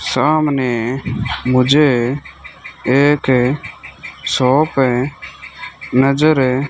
सामने मुझे एक शॉप है नजर --